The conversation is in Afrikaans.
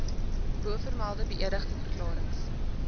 bovermelde beëdigde verklarings